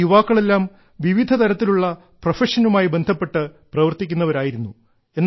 ആ യുവാക്കളെല്ലാം വിവിധ തരത്തിലുള്ള പ്രൊഫഷനുമായി ബന്ധപ്പെട്ട് പ്രവർത്തിക്കുന്നവരായിരുന്നു